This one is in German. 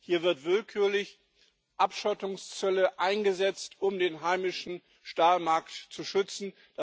Hier werden willkürlich Abschottungszölle eingesetzt, um den heimischen Stahlmarkt zu schützen.